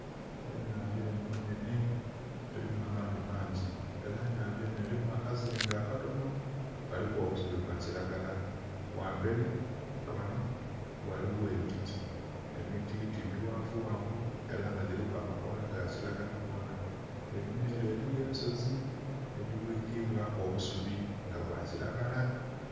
Enhandha enho enhenhe erimu amaadhi mangi era enhandha enho erimu akazinga akatonho kaliku obusubi obwa kilagala, ghamberi ghanho ghaligho emiti, emiti mighanvu ghanvu era nga giliku amakoola ga kilagala gonna, einhuma ere eriyo ensozi edhi bwikibwaku obusubi nga bwa kilagala.